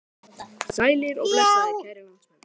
Það yrði allt annað en ljót sjón.